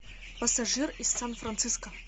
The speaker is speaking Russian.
пассажир из сан франциско